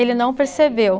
Ele não percebeu.